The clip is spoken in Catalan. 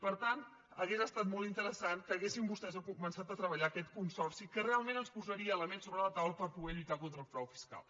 per tant hauria estat molt interessant que haguessin vostès començat a treballar aquest consorci que re·alment ens posaria elements sobre la taula per poder lluitar contra el frau fiscal